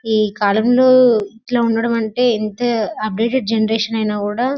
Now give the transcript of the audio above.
ఈ కాలంలో ఇట్లా ఉండడం అంటే యెంత అప్డేటడ్ జనరేషన్ ఐన కూడా --